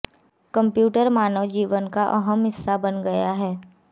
computer मानव जीवन का अहम हिस्सा बन गया है